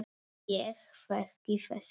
Ég þekki þessa leið.